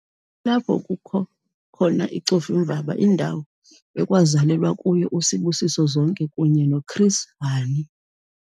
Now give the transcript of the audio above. Kulapho kukho khona iCofimvaba indawo ekwazalelwa kuyo uSibusiso Zonke kunye noChris Hani.